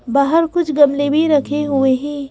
बाहर कुछ गमले भी रखे हुए हैं।